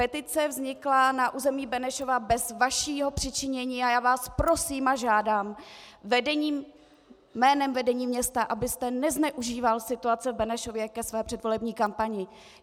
Petice vznikla na území Benešova bez vašeho přičinění a já vás prosím a žádám jménem vedení města, abyste nezneužíval situace v Benešově ke své předvolební kampani.